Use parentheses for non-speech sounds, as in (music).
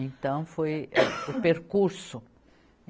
Então, foi (coughs) o percurso.